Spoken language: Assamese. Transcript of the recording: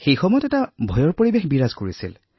সেই সময়ত এক ভয়ৰ পৰিৱেশ আছিল